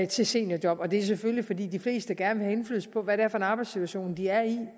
til seniorjob og det er selvfølgelig fordi de fleste gerne vil have indflydelse på hvad det er for en arbejdssituation de er i